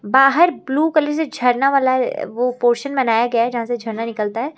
बाहर blue colour से झरना वाला वो पोर्शन बनाया गया है जहां से झरना निकलता है।